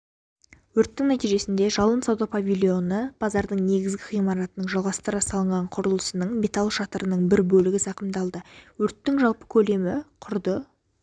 өрттің нәтижесінде жалын сауда павильоны базардың негізгі ғимаратының жалғастыра салынған құрылысының металл шатырының бір бөлігі зақымдалды өрттің жалпы көлемі құрды